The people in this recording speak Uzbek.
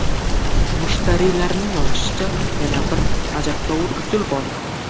Mushtariylarning yozishicha, yana bir ajabtovur usul bor.